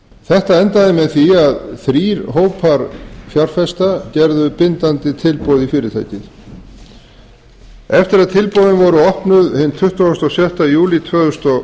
þetta endaði með því að þrír hópar fjárfesta gerðu bindandi tilboð í fyrirtækið eftir að tilboðin voru opnuð hinn tuttugasta og sjötta júlí tvö þúsund og